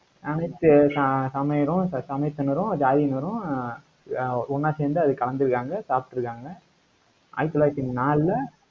அனைத்து ச~ சமயத்தினரும், ஜாதியினரும் ஆஹ் அஹ் ஒண்ணா சேர்ந்து, அதுல கலந்து இருக்காங்க, சாப்பிட்டிருக்காங்க. ஆயிரத்து தொள்ளாயிரத்து நாலுல